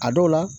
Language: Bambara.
A dɔw la